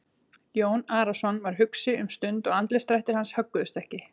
Jón Arason varð hugsi um stund og andlitsdrættir hans högguðust ekki.